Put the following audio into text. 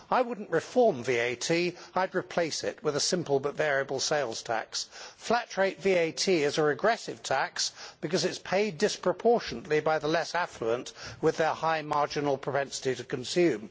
I would not reform VAT, I would replace it with a simple but variable sales tax. Flat rate VAT is a regressive tax because it is paid disproportionately by the less affluent with their high marginal propensity to consume.